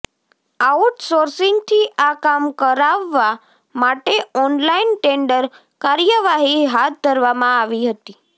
આઉટર્સોિંસગથી આ કામ કરાવવા માટે ઓનલાઈન ટેન્ડર કાર્યવાહી હાથ ધરવામાં આવી હતી